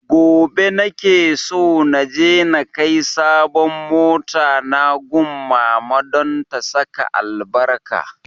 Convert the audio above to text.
Gobe na ke so naje na kai sabon mota na gun mama don ta saka albarka